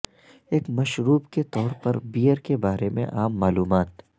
ایک مشروب کے طور پر بیئر کے بارے میں عام معلومات